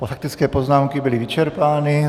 Faktické poznámky byly vyčerpány.